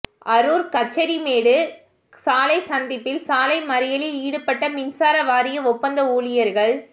அரூர் கச்சேரிமேடு சாலை சந்திப்பில் சாலை மறியலில் ஈடுபட்ட மின்சார வாரிய ஒப்பந்த ஊழியர்கள்